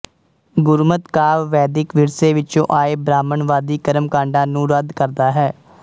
ਗੁਰਮਤਿ ਕਾਵਿ ਵੈਦਿਕ ਵਿਰਸੇ ਵਿੱਚੋੰ ਆਏ ਬ੍ਰਾਹਮਣਵਾਦੀ ਕਰਮਕਾਡਾਂ ਨੂੰ ਰੱਦ ਕਰਦਾ ਹੈ